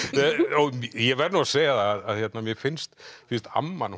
af sjeníver ég verð nú að segja að mér finnst finnst amman